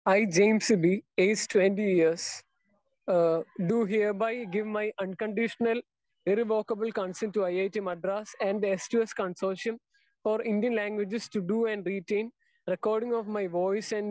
speaker 2 E, James B E age 20 years do hereby give my unconditional irrevocable consent to IIT Madras and the s two s consortium for Indian languages to do and written recording of my voice